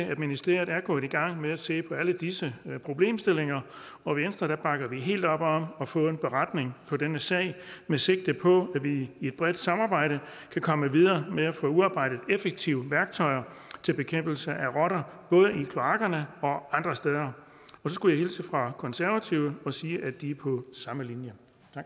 at ministeriet er gået i gang med at se på alle disse problemstillinger og i venstre bakker vi helt op om at få en beretning på denne sag med sigte på at vi i et bredt samarbejde kan komme videre med at få udarbejdet effektive værktøjer til bekæmpelse af rotter både i kloakkerne og andre steder så skulle jeg hilse fra konservative og sige at de er på samme linje